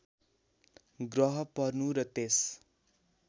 ग्रह पर्नु र त्यस